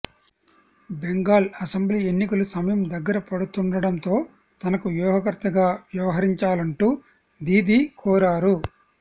Bengal assembly ఎన్నికలు సమయం దగ్గర పడుతుండటంతో తనకు వ్యూహకర్తగా వ్యవహరించాలంటూ దీదీ కోరారు